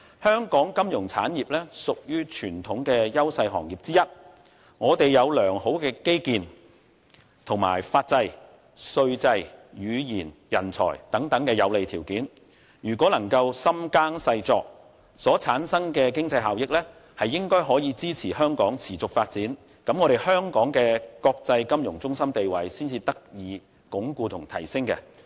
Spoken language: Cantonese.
香港金融產業屬於傳統的優勢行業之一，我們有良好的基建、法制、稅制、語言和人才等有利條件，如果能夠深耕細作，所產生的經濟效益，應該可以支持香港持續發展，這樣香港的國際金融中心地位才能得以鞏固和提升。